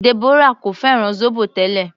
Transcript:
Deborah kò fẹ́ràn zobo tẹ́lẹ̀.